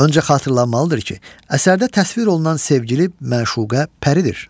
Öncə xatırlanmalıdır ki, əsərdə təsvir olunan sevgili məşuqə Pəridir.